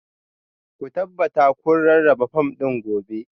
Ku tabbata kun rarraba fom ɗin gobe